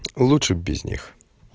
лучше бы без них